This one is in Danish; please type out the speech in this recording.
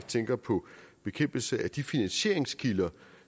tænker på bekæmpelse af de finansieringskilder